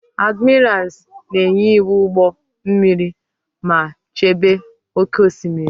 Admirals na-enye iwu ụgbọ mmiri ma chebe oke osimiri.